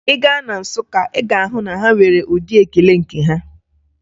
Ị gaa na Nsụka, Ị ga-ahụ na ha nwere ụdị ekele nke ha.